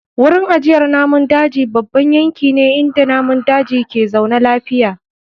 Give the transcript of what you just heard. Wurin ajiyar namun daji babban yanki ne inda namun daji ke zaune lafiya.